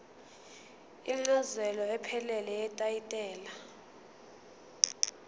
incazelo ephelele yetayitela